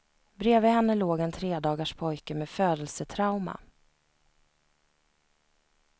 Bredvid henne låg en tredagars pojke med födelsetrauma.